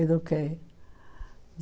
Eduquei.